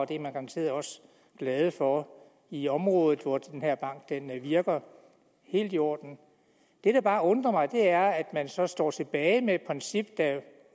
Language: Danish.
det er man garanteret også glad for i området hvor den her bank virker helt i orden det der bare undrer mig er at man så står tilbage med et princip der